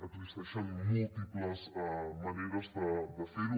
existeixen múltiples maneres de ferho